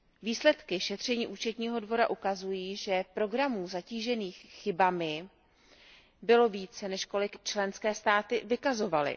Výsledky šetření Účetního dvora ukazují, že programů zatížených chybami bylo více než kolik členské státy vykazovaly.